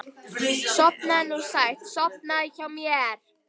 Sofnaðu nú sætt, sofnaðu hjá mér.